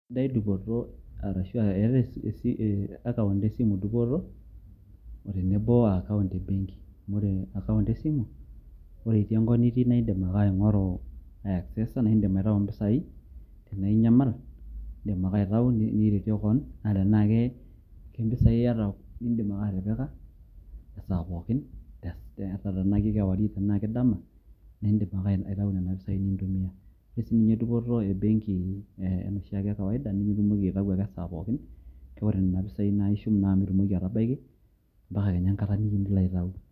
sidai dupoto arashu account esimu dupoto o tenebo wo account e benki. amu ore account esimu ore itii enkop nitii, naa idim ake aing'oru, access naa idim aitayu impisai, tenaa inyamal, idim ake aitau niretie kewon, naa tenaa kempisai iyata naa idim ake atipika, esaa pookin, tenaa kewarie tenaa kedama, idim ake aitayu nena pisai nintumia, ore sii ninye dupoto e benki enoshiake e kawaida, nimitumoki aitayu esaa pookin. kake ore nena pisai naa ishum naa ake midim atabaiki ampaka kenya enkata nitumoki aitayu.